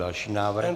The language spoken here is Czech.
Další návrh.